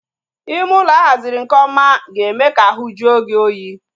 Ime ụlọ a haziri nke ọma ga-eme ka ahu jue gị oyi